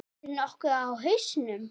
Ert þú nokkuð á hausnum?